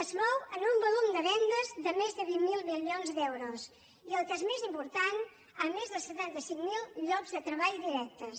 es mou en un volum de vendes de més de vint miler milions d’euros i el que és més important amb més de setanta cinc mil llocs de treball directes